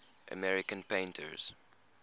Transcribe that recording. american painters